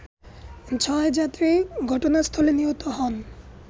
ছয় যাত্রী ঘটনাস্থলে নিহত হন